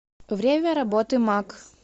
время работы мак